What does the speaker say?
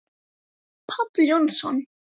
Páll Jónsson